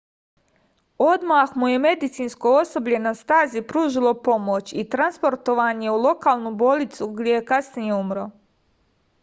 odmah mu je medicinsko osoblje na stazi pružilo pomoć i transportovan je u lokalnu bolnicu gde je kasnije umro